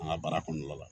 An ka baara kɔnɔna la